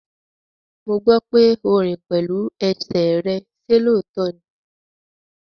Mo gbọ́ pé o rìn pẹ̀lú ẹsẹ̀ rẹ, ṣe lóòótọ́ ní?